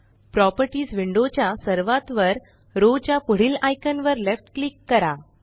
properties window च्या सर्वात वर रो च्या पुढील आइकान वर लेफ्ट क्लिक करा